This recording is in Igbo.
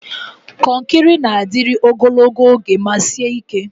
Konkiri na-adịru ogologo oge ma sie ike.